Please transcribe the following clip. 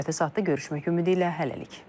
Növbəti saatda görüşmək ümidi ilə hələlik.